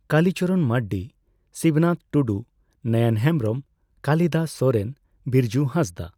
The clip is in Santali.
ᱠᱟᱞᱤᱪᱚᱨᱚᱱ ᱢᱟᱨᱰᱤ, ᱥᱤᱵᱱᱟᱛᱷ ᱴᱩᱰᱩ, ᱱᱚᱭᱚᱱ ᱦᱮᱢᱵᱨᱚᱢ, ᱠᱟᱞᱤᱫᱟᱥ ᱥᱚᱨᱮᱱ, ᱵᱤᱨᱡᱩ ᱦᱟᱸᱥᱫᱟ ᱾